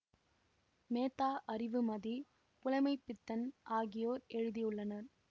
மேத்தா அறிவுமதி புலமைப்பித்தன் ஆகியோர் எழுதியுள்ளனர்